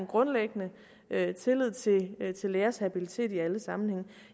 grundlæggende er tillid til lægers habilitet i alle sammenhænge